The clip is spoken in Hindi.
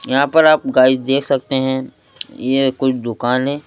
यहां पर आप गाइस देख सकते हैं यह कुछ दुकान है।